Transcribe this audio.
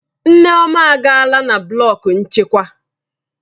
Nneoma agaala na blọku nchịkwa